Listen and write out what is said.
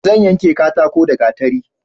Zan yanke katako da gatari